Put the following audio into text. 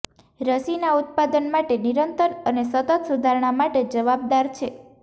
રસીના ઉત્પાદન માટે નિરંતર અને સતત સુધારણા માટે જવાબદાર છે